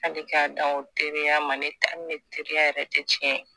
hali k'a dan o teriya ma ni teriya yɛrɛ tɛ tiɲɛ ye